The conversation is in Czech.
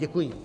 Děkuji.